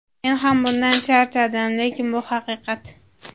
Men ham bundan charchadim, lekin bu haqiqat.